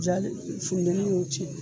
J'ali fudɛni y'o cɛn